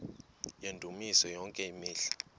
yendumiso yonke imihla